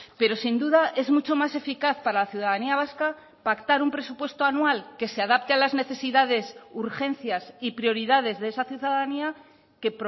pero sin duda es mucho más eficaz para la ciudadanía vasca pactar un presupuesto anual que se adapte a las necesidades urgencias y prioridades de esa ciudadanía que